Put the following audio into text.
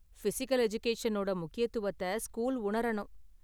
Physical எஜுகேஷனோட முக்கியத்துவத்தை school உணரணும்.